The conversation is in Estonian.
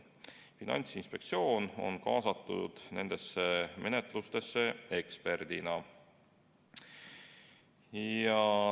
Finantsinspektsioon on kaasatud nendesse menetlustesse eksperdina.